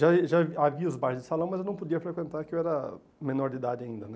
Já eh já havia os bares de salão, mas eu não podia frequentar, porque eu era menor de idade ainda né.